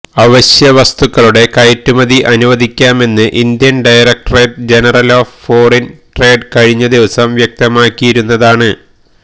അവശ്യ വസ്തുക്കളുടെ കയറ്റുമതി അനുവദിക്കാമെന്ന് Indian directorate general of foreign trade കഴിഞ്ഞദിവസം വ്യക്തമാക്കിയിരുന്നതാണ്